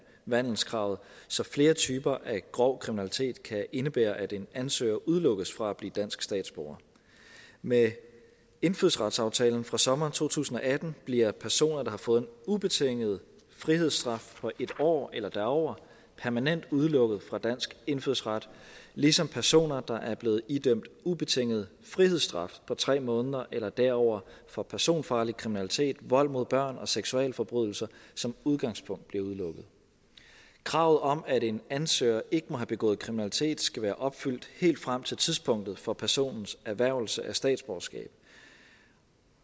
vandelskravet så flere typer af grov kriminalitet kan indebære at en ansøger udelukkes fra at blive dansk statsborger med indfødsretsaftalen fra sommeren to tusind og atten bliver personer der har fået en ubetinget frihedsstraf på en år eller derover permanent udelukket fra dansk indfødsret ligesom personer der er blevet idømt ubetinget frihedsstraf på tre måneder eller derover for personfarlig kriminalitet vold mod børn og seksualforbrydelser som udgangspunkt bliver udelukket kravet om at en ansøger ikke må have begået kriminalitet skal være opfyldt helt frem til tidspunktet for personens erhvervelse af statsborgerskab